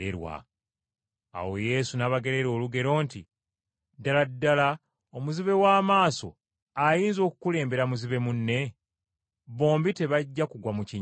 Awo Yesu n’abagerera olugero luno nti, “Ddala ddala omuzibe w’amaaso ayinza okukulembera muzibe munne? Bombi tebajja kugwa mu kinnya?